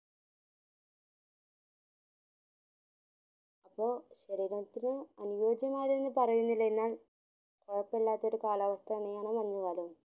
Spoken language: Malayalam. അപ്പൊ ഒരുകണക്കിന് അന്യോജ്യമായറാതെന്ന് പറയുന്നില്ല എന്നാൽ കൊഴപ്പില്ലാത്ത ഒരു കാലാവസ്ഥയാണ് ഈ മഞ്ജു കാലവും